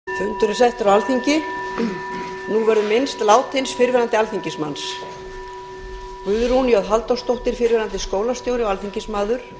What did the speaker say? nú verður minnst látins fyrrverandi alþingismanns guðrún j halldórsdóttir fyrrverandi skólastjóri og alþingismaður